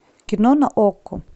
кино на окко